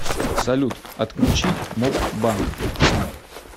салют отключить моб банк